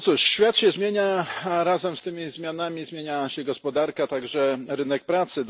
Świat się zmienia, razem z tymi zmianami zmienia się gospodarka, a także rynek pracy.